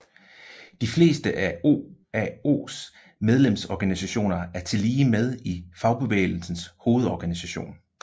De fleste af OAOs medlemsorganisationer er tillige med i Fagbevægelsens Hovedorganisation